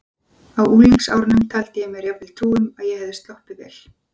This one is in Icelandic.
Á unglingsárunum taldi ég mér jafnvel trú um að ég hefði sloppið vel.